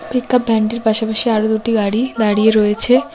Pickup ভ্যানটির পাশাপাশি আরও দুটি গাড়ি দাঁড়িয়ে রয়েছে।